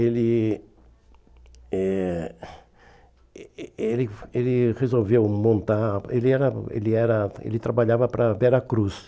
Ele eh eh eh ele ele resolveu montar... Ele era ele era ele trabalhava para a Veracruz.